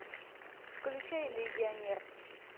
включай легионер